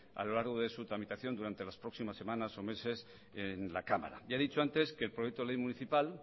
a lo largo de su tramitación durante las próximas semanas o meses en la cámara ya he dicho antes que el proyecto de ley municipal